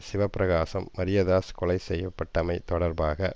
சிவப்பிரகாசம் மரியதாஸ் கொலை செய்ய பட்டமை தொடர்பாக